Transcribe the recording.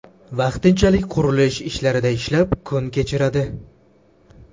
Vaqtinchalik qurilish ishlarida ishlab, kun kechiradi.